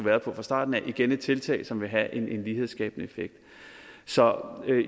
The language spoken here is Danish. været på fra starten af igen et tiltag som vil have en lighedsskabende effekt så